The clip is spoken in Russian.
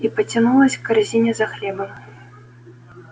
и потянулась к корзине за хлебом